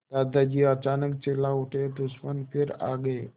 दादाजी अचानक चिल्ला उठे दुश्मन फिर आ गए